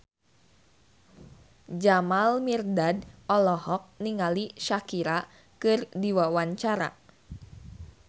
Jamal Mirdad olohok ningali Shakira keur diwawancara